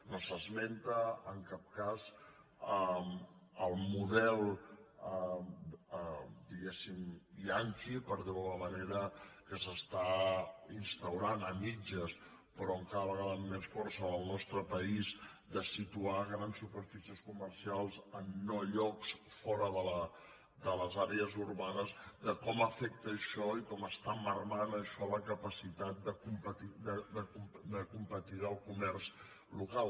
no s’esmenta en cap cas el model diguéssim yankee per dir ho d’alguna manera que s’està instaurant a mitges però cada vegada amb més força en el nostre país de situar grans superfícies comercials en no llocs fora de les àrees urbanes de com afecta això i com està minvant això la capacitat de competir del comerç local